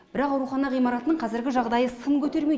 бірақ аурухана ғимаратының қазіргі жағдайы сын көтермейді